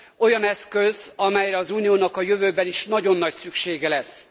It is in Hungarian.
Olyan eszköz, amelyre az Uniónak a jövőben is nagyon nagy szüksége lesz.